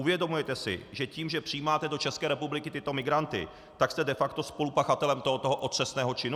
Uvědomujete si, že tím, že přijímáte do České republiky tyto migranty, tak jste de facto spolupachatelem tohoto otřesného činu?